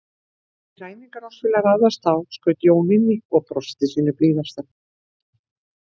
Því ræningjar oss vilja ráðast á, skaut Jón inn í og brosti sínu blíðasta.